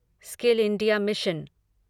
skill India mission